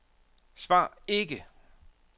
svar ikke